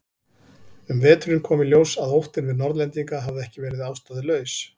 Um veturinn kom í ljós að óttinn við Norðlendinga hafði ekki verið ástæðulaus.